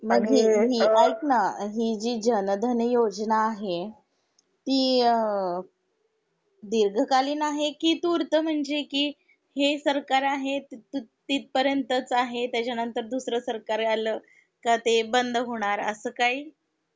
मग हि ऐक ना हि जी जनधन योजना आहे ती अ दीर्घ कालीन आहे कि तूर्त म्हणजे कि हे सरकार आहे त त तिथ पर्यन्तच आहे त्याचा नंतर दुसरं सरकार आलं का ते बंद होणार असं काही.